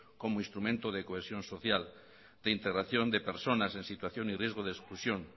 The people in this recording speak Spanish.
como instrumento de cohesión social de integración de personas en situación y riesgo de exclusión